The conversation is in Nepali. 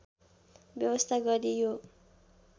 व्यवस्था गरी यो